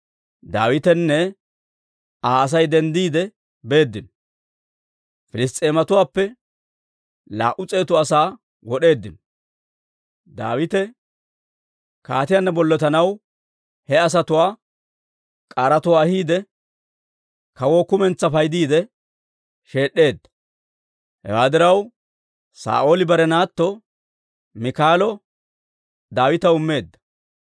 Daawitenne Aa Asay denddiide beeddino; Piliss's'eematuwaappe laa"u s'eetu asaa wod'eeddino. Daawite kaatiyaanna bollotanaw he asatuwaa k'aaratuwaa ahiide, kawoo kumentsaa paydiide sheed'd'edda. Hewaa diraw, Saa'ooli bare naatto Miikaalo Daawitaw immeedda.